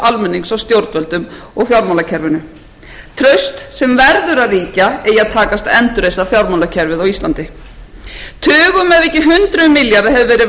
almennings á stjórnvöldum og fjármálakerfinu traust sem verður að ríkja eigi að takast að endurreisa fjármálakerfið á íslandi tugum ef ekki hundruðum milljarða hefur verið